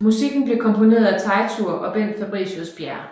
Musikken blev komponeret af Teitur og Bent Fabricius Bjerre